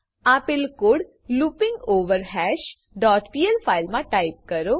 આપેલ code looping over hash dot PL file મા type કરો